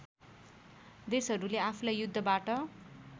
देशहरुले आफूलाई युद्धबाट